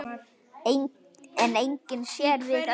En enginn sér við öllum.